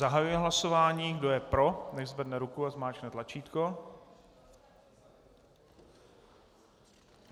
Zahajuji hlasování, kdo je pro, nechť zvedne ruku a zmáčkne tlačítko.